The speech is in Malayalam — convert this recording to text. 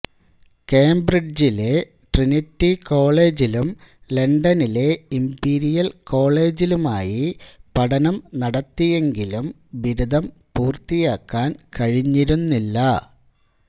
കേംബ്രിഡ്ജിലെ ട്രിനിറ്റി കോളേജിലും ലണ്ടനിലെ ഇംപീരിയൽ കോളേജിലുമായി പഠനം നടത്തിയെങ്കിലും ബിരുദം പൂർത്തിയാക്കാൻ കഴിഞ്ഞിരുന്നില്ല